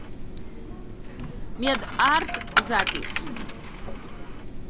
мед арт запись